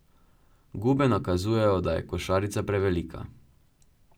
Gube nakazujejo, da je košarica prevelika.